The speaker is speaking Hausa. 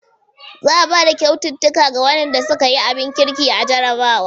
Zaa bada kyaututtuka ga waɗanda suka yi abin kirkin a jarrabawa.